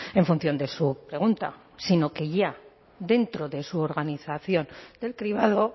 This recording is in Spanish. en función de su pregunta sino que ya dentro de su organización del cribado